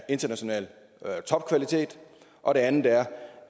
international topkvalitet og det andet er